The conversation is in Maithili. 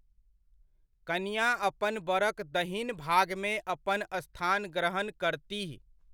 कनिआँ अपन बरक दहिन भागमे अपन स्थान ग्रहण करतीह।